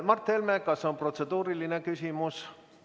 Mart Helme, kas on protseduuriline küsimus?